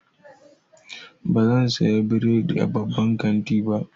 Bazan saya bredi a babban kanti ba.